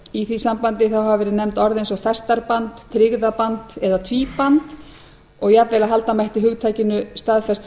í því sambandi hafa verið nefnd orð eins og festarband tryggðaband eða tvíband jafnvel að halda mætti hugtakinu staðfest